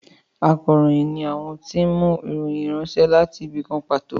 Ákàròyìn ni àwọn tí wọn mú ìròyìn ránṣẹ́ wá láti ibì kan pàtó